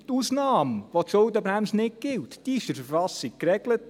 Die Ausnahme, bei der die Schuldenbremse nicht gilt, ist in der KV geregelt.